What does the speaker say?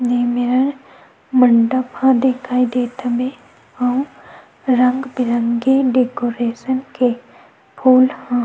ए मेरा मंडप ह दिखाई देत हवे अउ रंग-बिरंगे डेकोरेशन के फूल ह--